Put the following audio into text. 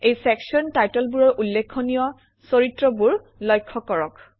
এই চেকচন টাইটেলবোৰৰ উল্লেখনীয় চৰিত্ৰবোৰ লক্ষ্য কৰক